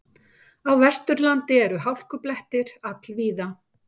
Á Vesturlandi eru hálkublettir all víða